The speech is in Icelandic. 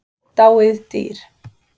Dáið dýr.